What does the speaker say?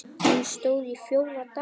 Hún stóð í fjóra daga.